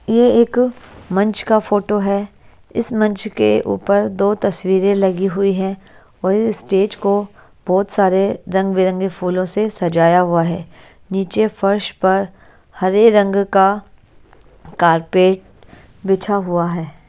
ये एक मंच का फोटो है इस मंच के ऊपर दो तस्वीरें लगी हुई हैं और इस स्टेज को बहुत सारे रंग बिरंगे फूलों से सजाया हुआ है नीचे फर्श पर हरे रंग का कारपेट बिछा हुआ है।